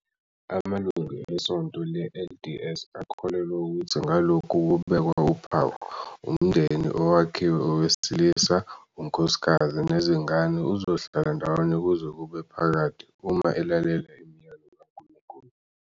Amalungu eSonto le-LDS akholelwa ukuthi ngalokhu kubekwa uphawu, umndeni, owakhiwe owesilisa, unkosikazi, nezingane uzohlala ndawonye kuze kube phakade, uma elalela imiyalo kaNkulunkulu.